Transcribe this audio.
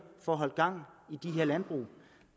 at holde gang i de her landbrug